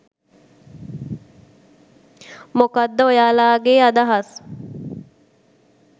මොකක්ද ඔයාලාගේ අදහස්?